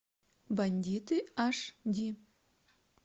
бандиты аш ди